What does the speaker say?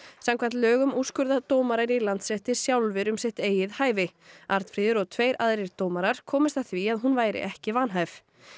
samkvæmt lögum úrskurða dómarar í Landsrétti sjálfir um sitt eigið hæfi Arnfríður og tveir aðrir dómarar komust að því að hún væri ekki vanhæf